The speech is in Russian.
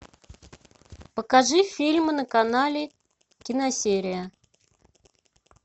покажи фильм на канале киносерия